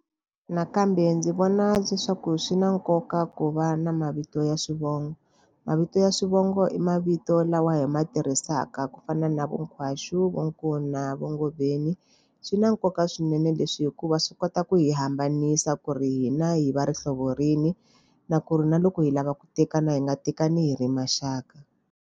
Nakambe ndzi vona leswaku swi na nkoka ku va na mavito ya xivongo. Mavito ya swivongo i mavito lawa hi ma tirhisaka ku fana na vo Nkhwashu vo Nkuna hinkwaxo vo nkuna va Ngoveni. Swi na nkoka swinene leswi hikuva swi kota ku hi hambanisa ku ri hina hi va rihlovo rini, na ku ri na loko hi lava ku tekana hi nga tekani hi ri maxaka.